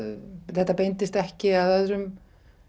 þetta beindist ekki að öðrum